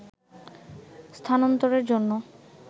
স্থানান্তরের জন্য